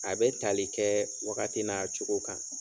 A bɛ tali kɛɛ wagati n'a cogo kan.